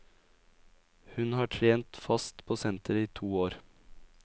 Hun har trent fast på senteret i to år.